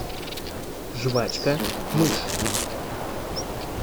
жвачка мышь